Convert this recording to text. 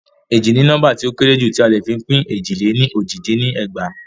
Éjì ni nóḿbà ti o kéré jù ti a le fi pin éjì lè ní ójì dín ní ẹgbàá.